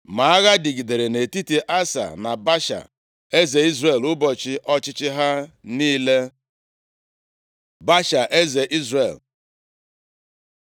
Ma agha dịgidere nʼetiti Asa na Baasha, eze Izrel, ụbọchị ọchịchị ha niile. Baasha, eze Izrel